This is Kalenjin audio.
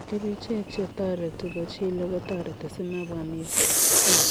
Kerichek chetoreti kochilee kotareti simebwa mising.